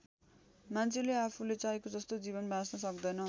मान्छेले आफूले चाहेको जस्तो जीवन बाँच्न सक्दैन।